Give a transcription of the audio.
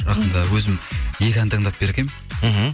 жақында өзім екі ән таңдап бергенмін мхм